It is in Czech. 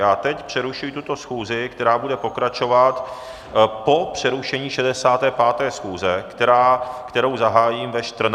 Já teď přerušuji tuto schůzi, která bude pokračovat po přerušení 65. schůze, kterou zahájím ve 14.00 hodin.